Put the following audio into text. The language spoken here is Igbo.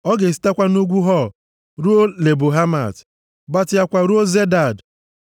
Ọ ga-esitekwa nʼugwu Hor ruo Lebo Hamat, gbatịakwa ruo Zedad,